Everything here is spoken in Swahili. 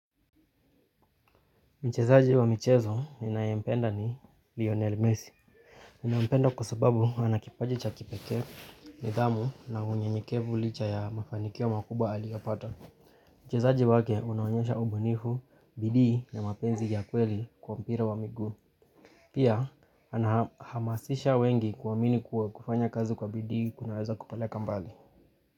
Michezaji wa michezo ninayempenda ni Lionel Messi. Ninaompenda kusababu anakipaji cha kipekee, nidhamu na unyenyekevu licha ya mafanikio wa makubwa alioapata. Michezaji wake unaonyesha ubunifu, bidii ya mapenzi ya kweli kwa mpira wa miguu. Pia, ana anahamasisha wengi kuamini kuwa kufanya kazi kwa bidii kunaweza kupaleka mbali.